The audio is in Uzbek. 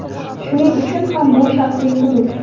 Shuning uchun ham bu shaxsiy hudud.